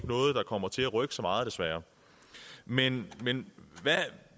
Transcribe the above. noget der kommer til at rykke så meget desværre men men